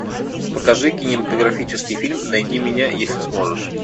покажи кинематографический фильм найди меня если сможешь